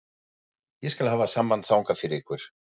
Ég skal hafa samband þangað fyrir ykkur.